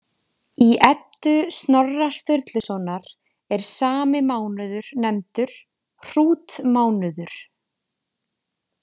Í Eddu Snorra Sturlusonar er sami mánuður nefndur hrútmánuður.